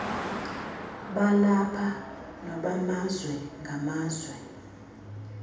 balapha nobamazwe ngamazwe